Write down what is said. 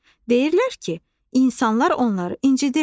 Deyirlər ki, insanlar onları incidirlər.